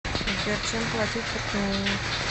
сбер чем платить в туркмении